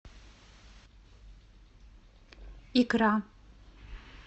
икра